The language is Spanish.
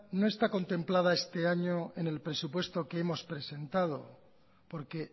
no está contemplado este año en el presupuesto que hemos presentado porque